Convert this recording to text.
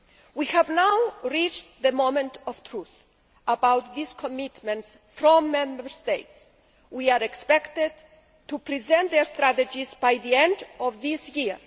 We have now reached the moment of truth about these commitments from Member States, who are expected to present their strategies by the end of this year.